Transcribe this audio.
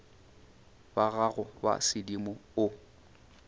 ba gago ba sedimo o